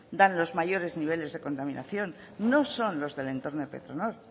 dan los mayores niveles de contaminación no son los del entorno de petronor